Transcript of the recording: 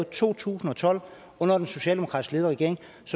to tusind og tolv under den socialdemokratisk ledede regering